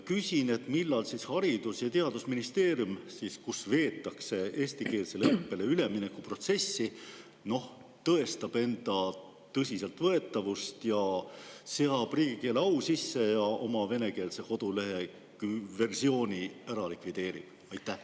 Küsin, millal siis Haridus- ja Teadusministeerium, kus veetakse eestikeelsele õppele ülemineku protsessi, tõestab enda tõsiseltvõetavust, seab riigikeele au sisse ja oma kodulehe venekeelse versiooni likvideerib.